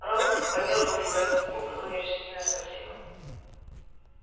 рон подёргал себя за губу потом нерешительно спросил